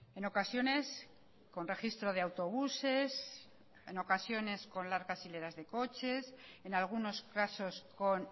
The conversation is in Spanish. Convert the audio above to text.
en ocasiones con registro de autobuses en ocasiones con largas hileras de coches en algunos casos con